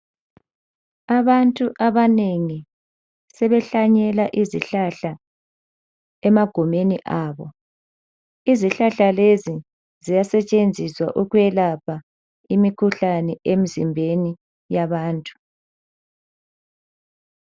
Abantu abanengi sebehlanyela izihlahla emagumeni abo. Izihlahla lezi ziyasetshenziswa ukwelapha imikhuhlane emzimbeni yabantu.